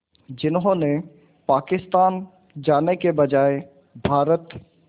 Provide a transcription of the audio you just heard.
जिन्होंने पाकिस्तान जाने के बजाय भारत